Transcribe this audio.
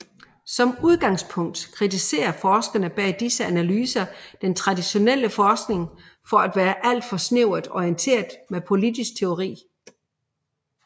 Som udgangspunkt kritiserer forskerne bag disse analyser den traditionelle forskning for at være alt for snævert orienteret mod politisk teori